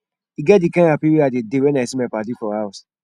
e get di kind hapi wey i dey dey wen i see my paddy for house